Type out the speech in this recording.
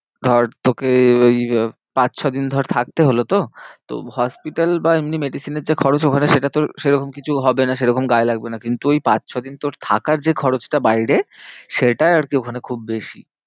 ধর তোকে ওই পাঁচ ছ দিন ধর থাকতে হলো তো তো hospital বা এমনি medicine এর যা খরচ ওখানে সেটা তোর সে রকম কিছু হবে না। সেরকম গায়ে লাগবে না। কিন্তু ওই পাঁচ ছ দিন তোর থাকার যে খরচটা বাইরে সেটাই আর কি ওখানে খুব বেশি